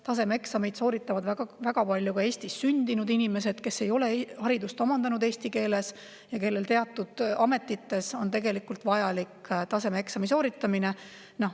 Tasemeeksameid sooritavad väga palju ka Eestis sündinud inimesed, kes ei ole haridust omandanud eesti keeles ja kellel teatud ameti on vaja tasemeeksam sooritada.